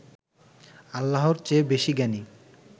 আল্লাহর চেয়ে বেশি জ্ঞানী